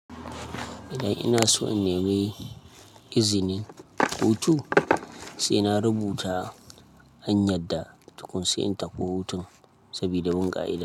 Idan ina so in nemi izinin hutu, sai na rubuta anyar da tukun sai in tafi hutun sabida bunƙa ida.